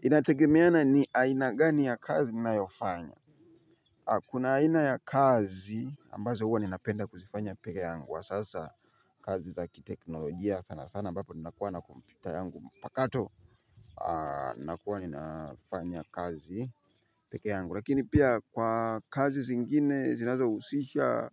Inategemea na ni aina gani ya kazi ninayofanya. Kuna aina ya kazi ambazo huwa ninapenda kuzifanya peke yangu kwa sasa kazi za kiteknolojia sana sana ninapokuwa na kompyuta yangu mpakato. Nakuwa ninafanya kazi peke yangu lakini pia kwa kazi zingine zinazohusisha